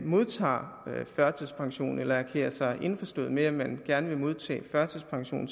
modtager førtidspension eller erklærer sig indforstået med at man gerne vil modtage førtidspension